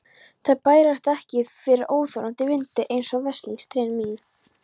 Þær bærast ekki fyrir óþolandi vindi, einsog veslings trén mín.